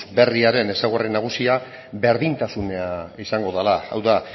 berriaren ezaugarri nagusia berdintasuna izango dela hau da